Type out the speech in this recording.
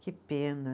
Que pena.